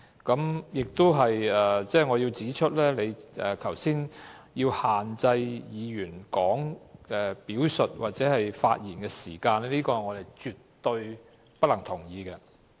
我亦想指出，你剛才限制議員表述或發言的時間，我們絕對不能同意。